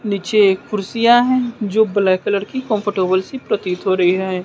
नीचे कुर्सियां है जो ब्लैक कलर की कंफर्टेबल सी प्रतीति हो रही हैं।